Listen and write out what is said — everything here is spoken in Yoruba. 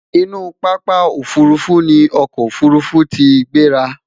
inú pápá òfurufú ní ọkọ ofurufu tí gbera